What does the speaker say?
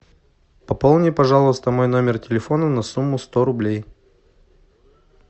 пополни пожалуйста мой номер телефона на сумму сто рублей